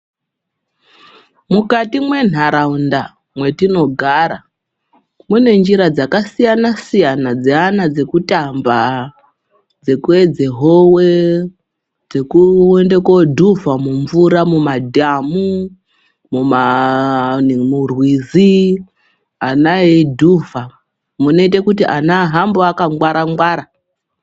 Mukati menharaunda mwetinogara mune njira dzakasiyana siyana dzeana dzekutamba dzekuedze howe dzekuende kodhuvha mumvura mumadhamu, murwizi ana eidhuvha munoite kuti ana ahambe akangwara ngwara.